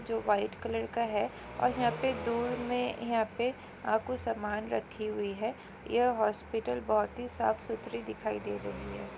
जो white colour का है और यहाँ पे दो में अ यहा पे कुछ समान रखी हुई है यह हॉस्पिटल बहुत साफ सुथरी दिखाई दे रही हैं।